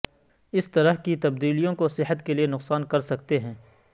اس طرح کی تبدیلیوں کو صحت کے لئے نقصان کر سکتے ہیں